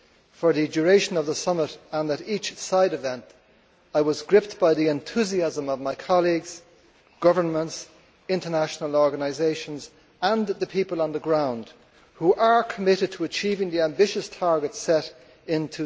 For the duration of the summit and at each side event, I was gripped by the enthusiasm of my colleagues, governments, international organisations and the people on the ground who are committed to achieving the ambitious targets set in